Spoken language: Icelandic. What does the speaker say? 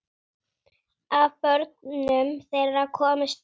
Af börnum þeirra komust upp